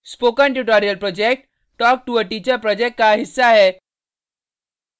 spoken tutorial project talktoa teacher project का हिस्सा है